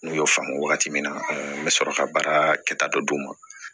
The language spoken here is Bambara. N'u y'o faamu wagati min na n bɛ sɔrɔ ka baara kɛta dɔ d'u ma